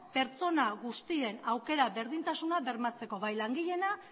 pertsona guztien aukera berdintasuna bermatzeko bai langileena